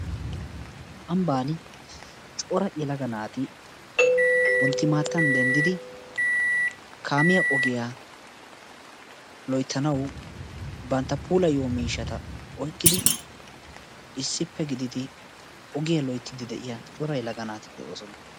Ambbaan cora yelaga naati wonttimaattan denddiidi kaamiya ogiya loyttanawu bantta puulayiyaa miishshaata oykkidi issippe gididi ogiya loyttidi de'iya cora yelaga naati de'oosona.